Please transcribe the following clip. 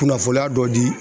Kunnafoniya dɔ di